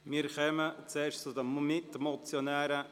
Wir kommen zu den Mitmotionären.